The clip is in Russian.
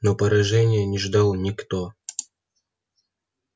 но поражения не ждал никто